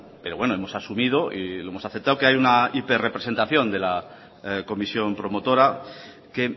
pero bueno hemos asumido y lo hemos aceptado que hay una hiper representación de la comisión promotora que